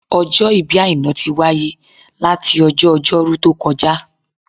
Ọjọ́ ìbí Àìná tí wáyé láti ọjọ́ Ọjọ́rú tó kọjá